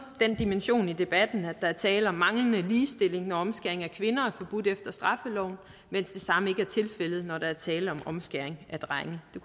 den dimension i debatten at der er tale om manglende ligestilling når omskæring af kvinder er forbudt efter straffeloven mens det samme ikke er tilfældet når der er tale om omskæring af drenge